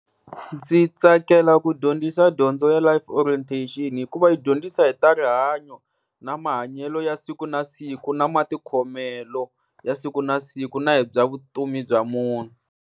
Ndzi tsakela ku dyondzisa dyondzo ya Life Orientation, hikuva yi dyondzisa hi ta rihanyo na mahanyelo ya siku na siku, na matikhomelo ya siku na siku, na hi bya vutomi bya munhu.